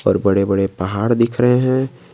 पर बड़े बड़े पहाड़ दिख रहे हैं।